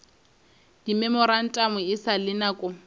dimemorantamo e sa le nako